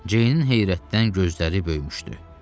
Ceynin heyrətdən gözləri böyümüşdü.